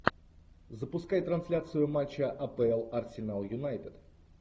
запускай трансляцию матча апл арсенал юнайтед